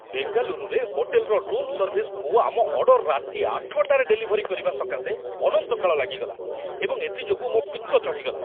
ବେଙ୍ଗାଲୁରୁରେ ହୋଟେଲର ରୁମ୍‌ ସର୍ଭିସ୍‌କୁ ଆମ ଅର୍ଡର ରାତି ୮ଟାରେ ଡେଲିଭରି କରିବା ସକାଶେ ଅନନ୍ତ କାଳ ଲାଗିଗଲା, ଏବଂ ଏଥି ଯୋଗୁଁ ମୋ ପିତ୍ତ ଚଢ଼ିଗଲା।